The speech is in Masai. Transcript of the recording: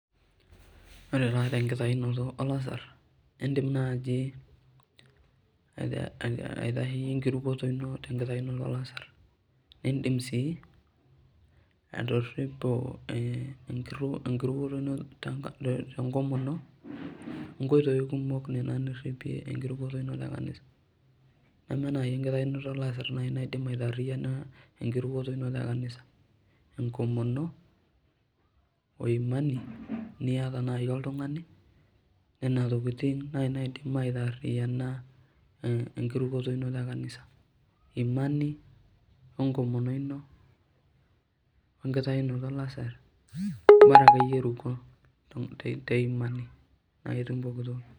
Ore taa tenkitayunoto olasar, idim naaji, aitayinye enkirukoto ino tenkitayunoto olasar, nidim sii atoripo, enkirukoto ino tenkomoni o nkoitoi kumok, Nena niripie enkirukoto ino nena, neme naaji enkirukoto ino, e kanisa, enkomono, oimani, niyata naaji oltungani, Nena tokitin naaji naidim aitaariyian, enkirukoto e kanisa Imani, onkitayunoto olasar Bora akeyie iruko te Imani na itum pooki toki.